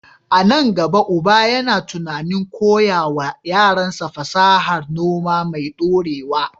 A nan gaba, uba yana tunanin koya wa yaransa fasahar noma mai ɗorewa.